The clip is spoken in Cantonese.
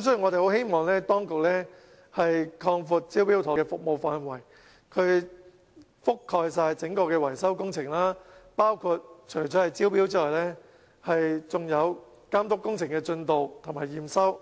所以，我們希望當局擴闊"招標妥"的服務範圍，完全覆蓋整個維修工程，除招標外，更監督工程進度和驗收，